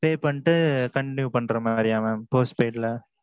pay பன்னிட்டு continue பன்ற மாதிரியா mam postpaid ல.